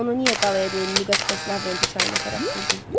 Onu niyə qalaya deyil, müqəddəs Lavrenti çayına tərəf sürdün?